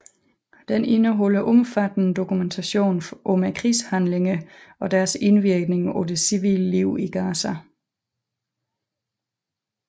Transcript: Den indeholder omfattende dokumentation om krigshandlingene og deres indvirkning på det civile liv i Gaza